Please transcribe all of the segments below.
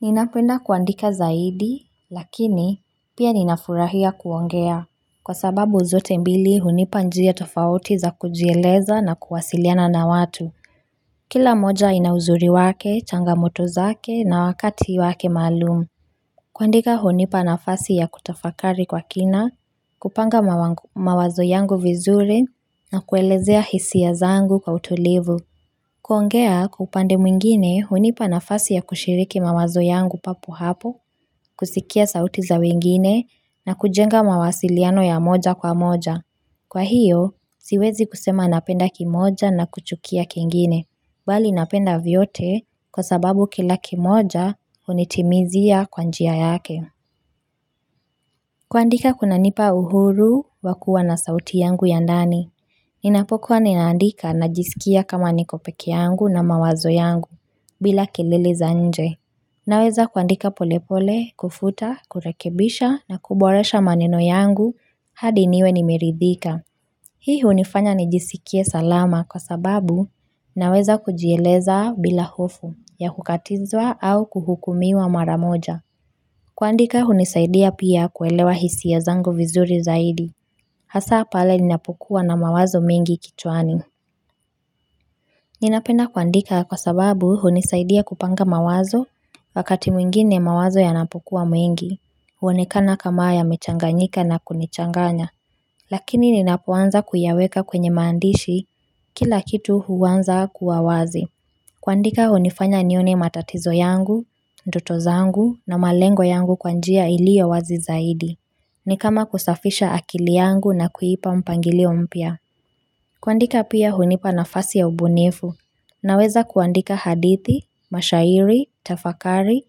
Ninapenda kuandika zaidi lakini pia ninafurahia kuongea Kwa sababu zote mbili hunipa njia tofauti za kujieleza na kuwasiliana na watu Kila moja inauzuri wake changamoto zake na wakati wake malumu kuandika hunipa nafasi ya kutafakari kwa kina kupanga mawazo yangu vizuri na kuelezea hisia zangu kwa utulivu kuongea kwa upande mwingine unipa nafasi ya kushiriki mawazo yangu papo hapo, kusikia sauti za wengine na kujenga mawasiliano ya moja kwa moja. Kwa hiyo, siwezi kusema napenda kimoja na kuchukia kiengine, bali napenda vyote kwa sababu kila kimoja unitimizia kwa njia yake. Kuandika kuna nipa uhuru wakua na sauti yangu ya ndani. Ninapokuwa ninaandika najisikia kama niko peke yangu na mawazo yangu bila kielele za nje. Naweza kuandika polepole, kufuta, kurekebisha na kuboresha maneno yangu hadi niwe nimiridhika. Hii unifanya nijisikie salama kwa sababu naweza kujieleza bila hofu ya hukatizwa au kuhukumiwa mara moja. Kuandika hunisaidia pia kuelewa hisi ya zangu vizuri zaidi. Hasa pale ninapukua na mawazo mingi kituani. Ninapenda kuandika kwa sababu hunisaidia kupanga mawazo wakati mwingine mawazo yanapokua mingi. Huonekana kamaa ya mechanganyika na kunichanganya. Lakini ninapoanza kuyaweka kwenye maandishi kila kitu huwanza kuawazi. Kuandika unifanya nione matatizo yangu, ndoto zangu na malengo yangu kwa njia ili ya wazi zaidi. Ni kama kusafisha akili yangu na kuipa mpangilio mpya. Kuandika pia unipa nafasi ya ubunifu. Naweza kuandika hadithi, mashairi, tafakari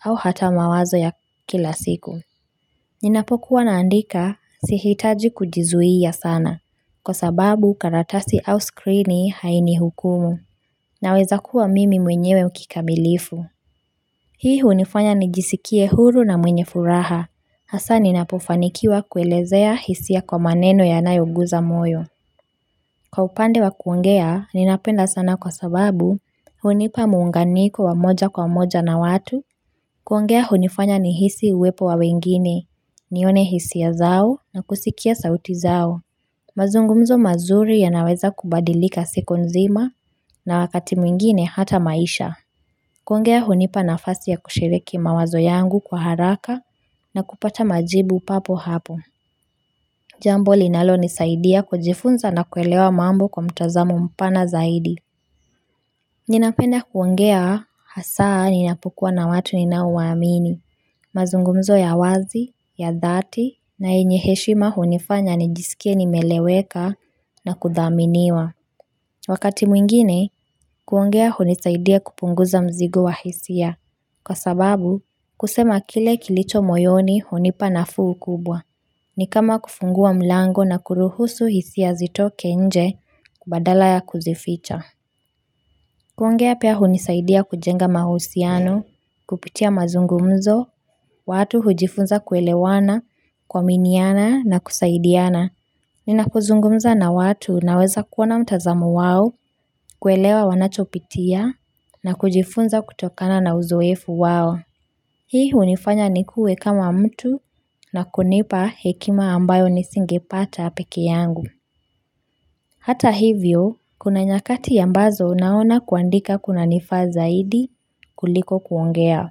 au hata mawazo ya kila siku. Ninapokuwa naandika sihitaji kujizuia sana. Kwa sababu karatasi au skrini hainihukumu. Naweza kuwa mimi mwenyewe kikamilifu. Hii hunifanya nijisikie huru na mwenye furaha. Hasa ninapofanikiwa kuelezea hisia kwa maneno ya nayoguza moyo. Kwa upande wa kuongea, ninapenda sana kwa sababu hunipa muunganiko wa moja kwa moja na watu. Kuongea hunifanya ni hisi uwepo wa wengine. Nione hisia zao na kusikia sauti zao. Mazungumzo mazuri yanaweza kubadilika siku nzima na wakati mwingine hata maisha kuongea hunipa nafasi ya kushiriki mawazo yangu kwa haraka na kupata majibu papo hapo Jambo linalonisaidia kujifunza na kuelewa mambo kwa mtazamu mpana zaidi Ninapenda kuongea hasaa ninapokua na watu ninauwaamini mazungumzo ya wazi, ya dhati na yenye heshima hunifanya nijisikie nimeeleweka na kudhaminiwa. Wakati mwingine, kuongea hunisaidia kupunguza mzigo wa hisia. Kwa sababu, kusema kile kilicho moyoni hunipa nafuu kubwa. Ni kama kufungua mlango na kuruhusu hisia zitoke nje kubadala ya kuzificha. Kuangea pia hunisaidia kujenga mahusiano, kupitia mazungumzo, watu hujifunza kuelewana kuaminiana na kusaidiana. Ninapokuzungumza na watu na weza kuona mtazamu wawo, kuelewa wanachopitia na kujifunza kutokana na uzoefu wawo. Hii unifanya nikue kama mtu na kunipa hekima ambayo nisingepata peke yangu. Hata hivyo, kuna nyakati ambazo naona kuandika kuna nifa zaidi kuliko kuongea.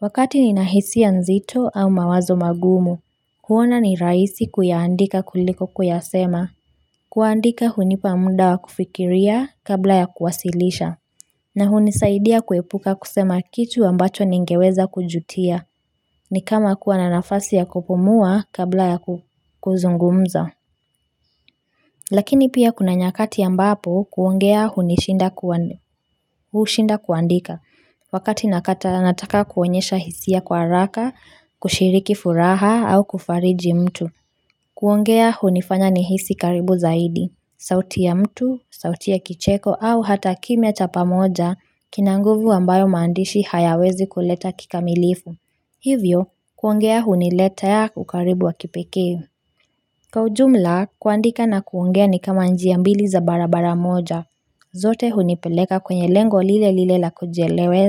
Wakati nina hisia nzito au mawazo magumu, huona ni raisi kuyaandika kuliko kuyasema. Kuandika hunipa muda wa kufikiria kabla ya kuwasilisha. Na hunisaidia kuepuka kusema kitu ambacho ningeweza kujutia, ni kama kuwa na nafasi ya kupumua kabla ya kuzungumza. Lakini pia kuna nyakati ambapo kuongea hunishinda kuandika, wakati nakata anataka kuonyesha hisi ya kwa raka, kushiriki furaha au kufariji mtu. Kuongea hunifanya nihisi karibu zaidi, sauti ya mtu, sauti ya kicheko au hata kimia tapamoja kina nguvu ambayo mandishi hayawezi kuleta kikamilifu. Hivyo, kuongea hunileta ya kukaribu wa kipeke. Ka ujumla kuandika na kuongea ni kama njia mbili za barabara moja zote hunipeleka kwenye lengo lile lile la kujielewe.